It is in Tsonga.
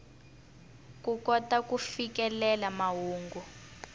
ku kota ku fikelela mahungu